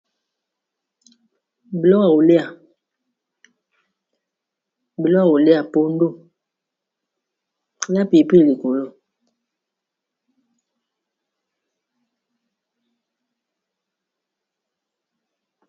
Biloko ya koliya biloko ya koliya na pili pili likolo.